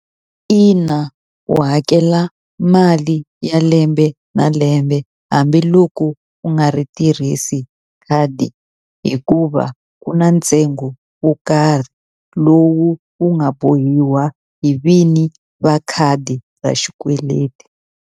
Ina u hakela mali ya lembe na lembe hambiloko u nga ri tirhisi khadi, hikuva ku na ntsengo wo karhi lowu wu nga bohiwa hi vini va khadi ra xikweleti.